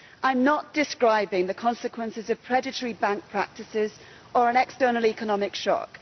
I am not describing the consequences of predatory bank practices or an external economic shock.